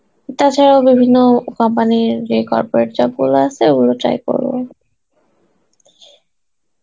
তাছাড়া ও বিভিন্ন company এর যে corporate job গুলো আছে ও গুলো try করবো.